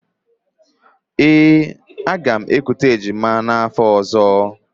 Ee, aga m ekute ejima n'afọ ọ̀zọ́.